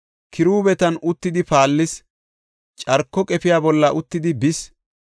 Kiruubetan uttidi paallis; carko qefiya bolla uttidi bis.